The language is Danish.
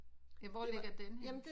Ja hvor ligger den henne?